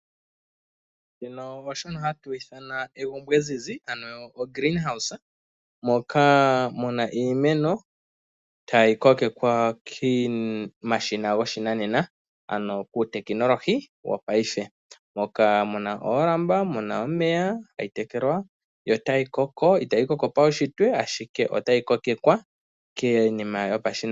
Shika osho hashi ithanwa egumbo ezizi moka mu na iimeno tayi kokekwa komashina goshinanena. Moka mu na oolamba, mu na omeya yo tayi koko, itayi koko paunshitwe ashike otayi kokekwa kiinima yopashinanena.